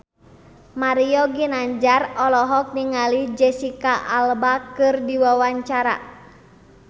Mario Ginanjar olohok ningali Jesicca Alba keur diwawancara